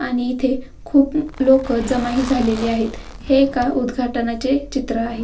आणि इथे खूप लोक जमा ही झालेले आहेत हे एका उदघाटनाचे चित्र आहे.